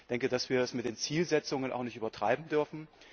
Ich denke, dass wir es mit den Zielsetzungen auch nicht übertreiben dürfen.